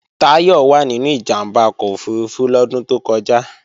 Táyọ̀ wà nínú ìjàmbá ọkọ̀ òfurufú lọ́dún tó kọjá